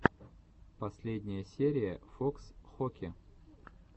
последняя серия фокс хоки